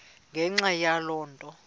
ngenxa yaloo nto